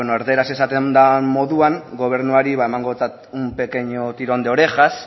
erdararaz esaten den moduan gobernuari emangotzat un pequeño tirón de orejas